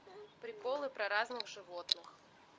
приколы про разных животных